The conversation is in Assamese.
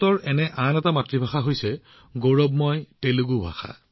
একেদৰে ভাৰতৰ আন এক মাতৃভাষা আছে সেয়া হৈছে গৌৰৱময় তেলেগু ভাষা